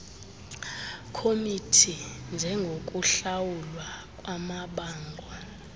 committee njengokuhlawulwa kwamabango